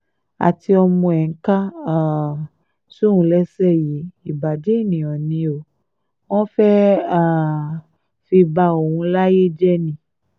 àti ọmọ ẹ̀ ń kà um sóun léṣe yìí ìbàjẹ́ ènìyàn ni o wọ́n fẹ́ẹ́ um fi ba òun láyé jẹ́ ni